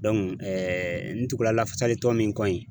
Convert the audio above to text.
ntugula lafasali tɔn min kɔ in